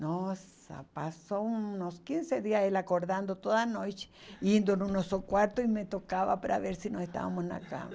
Nossa, passou uns quinze dias ela acordando toda noite, indo no nosso quarto e me tocava para ver se nós estávamos na cama.